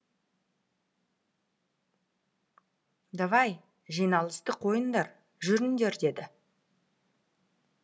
давай жиналысты қойыңдар жүріңдер деді